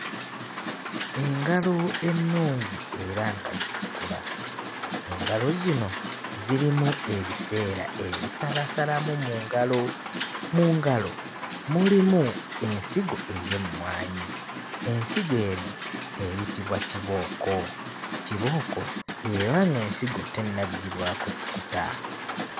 Engalo ennungi era nga zitukula, engalo zino zirimu ebiseera ebisalaasalamu mu ngalo. Mu ngalo mulimu ensigo ey'emmwanyi, ensigo eno eyitibwa kibooko, kibooko eba ng'ensigo tennaggyibwako kikuta.